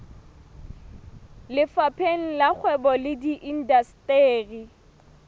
lefapheng la kgwebo le indasteri